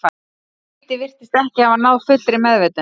Nautið virtist ekki hafa náð fullri meðvitund.